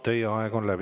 Teie aeg on läbi.